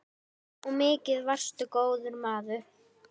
Og mikið varstu góður maður.